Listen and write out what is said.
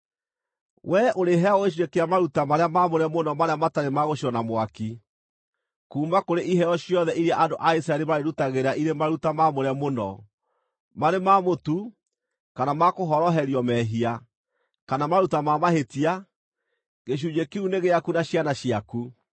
Wee ũrĩheagwo gĩcunjĩ kĩa maruta marĩa maamũre mũno marĩa matarĩ ma gũcinwo na mwaki. Kuuma kũrĩ iheo ciothe iria andũ a Isiraeli marĩndutagĩra irĩ maruta maamũre mũno, marĩ ma mũtu, kana ma kũhoroherio mehia, kana maruta ma mahĩtia, gĩcunjĩ kĩu nĩ gĩaku na ciana ciaku.